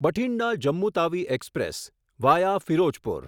Bathinda Jammu Tawi express via Firozpur